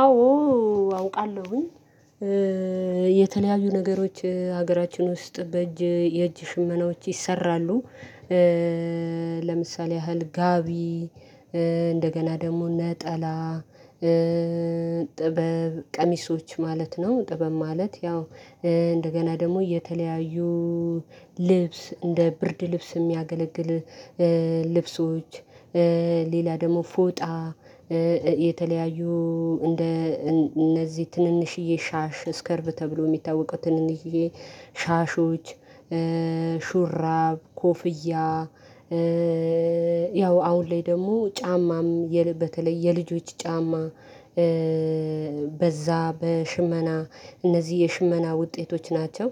አዎ አውቃለሁኝ። የተለያዩ ነገሮች ሀገራችን ውስጥ በእጅ የእጅ ሽመናዎች ይሰራሉ። ለምሳሌ ያህል ጋቢ እንደገና ደግሞ ነጠላ ጥበብ ቀሚሶች ማለት ነው። ጥበብ ማለት ያው እንደገና ደግሞ የተለያዩ ልብስ እንደ ብርድ ልብስ የሚያገለግል ልብሶች። ሌላ ደግሞ ፎጣ የተለያዩ እንደ እነዚህ ትንንሽዬ ሻሽ ስከርቭ ተብሎ የሚታወቀው ትንንሽዬ ሻሾች ሹራብ ኮፍያ። ያው አሁን ላይ ደግሞ ጫማም በተለይ የልጆች ጫማ። በዛ በሽመና እነዚህ የሽመና ውጤቶች ናቸው።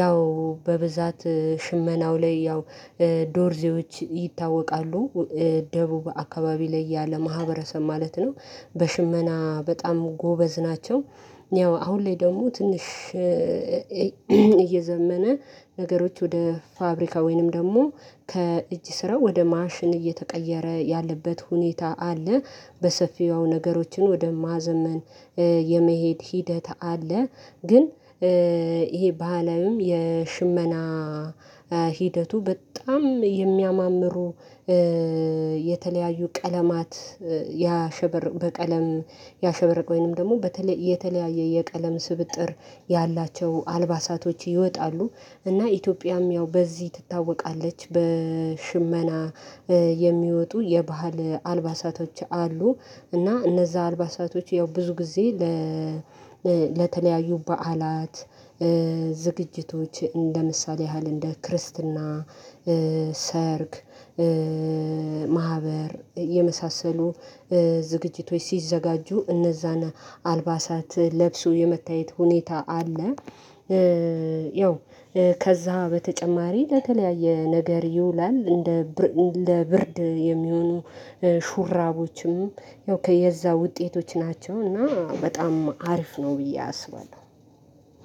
ያው በብዛት ሽመናው ላይ ያው ዶርዜዎች ይታወቃሉ። ደቡብ አካባቢ ላይ ያለ ማህበረሰብ ማለት ነው በሽመና በጣም ጎበዝ ናቸው። ያው አሁን ላይ ደግሞ ትንሽ እየዘመነ ነገሮች ወደ ፋብሪካ ወይንም ደግሞ ከእጅ ስራ ወደ ማሽን እየተቀየረ ያለበት ሁኔታ አለ። በሰፊው ነገሮችን ወደ ማዘመን የመሄድ ሂደት አለ። ግን ይሄ በአለም የሽመና ሂደቱ በጣም የሚያማምሩ የተለያዩ ቀለማት ያሸበረቁ በቀለም ያሸበረቅ ወይንም ደግሞ በተለይ የተለያየ የቀለም ስብጥር ያላቸው አልባሳቶች ይወጣሉ። እና ኢትዮጵያም ያው በዚህ ትታወቃለች በሽመና የሚወጡ የባህል አልባሳቶች አሉ። እና እነዛ አልባሳቶች ያው ብዙ ጊዜ ለተለያዩ በዓላት ዝግጅቶች እንደ ምሳሌ ያህል እንደ ክርስትና ሰርግ ማህበር የመሳሰሉ ዝግጅቶች ሲዘጋጁ እነዛን አልባሳት ለብሶ የመታየት ሁኔታ አለ። ያው ከዛ በተጨማሪ ለተለያየ ነገር ይውላል እንደ ለብርድ የሚሆኑ ሹራቦችም ያው ከየዛ ውጤቶች ናቸው እና በጣም አሪፍ ነው ብዬ አስባለሁ።